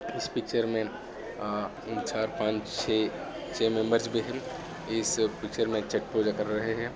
इस पिक्चर मे तीन चार पाच छे छे मेंबर्स दिख रहे है इस पिक्चर मे छट पूजा कर रहे है।